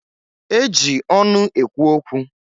E ji ọnụ ekwu okwu.